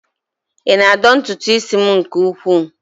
Ị na-adọ ntutu isi m nke ukwuu?